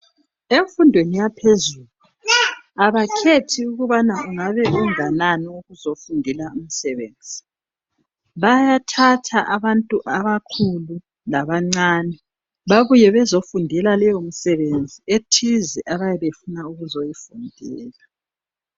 Emfundweni yaphezulu abakhethi ukubana ungabe unganani uzofundela umsebenzi bayathatha abantu abakhulu labancabe babuye bezofundela leyo msebenzi ethize abayabe befuna ukuzoyifundela.